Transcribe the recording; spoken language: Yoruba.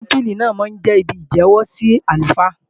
Tẹ́mpílì náà máa jẹ́ ibi ìjẹ́wọ́ sí àlùfáà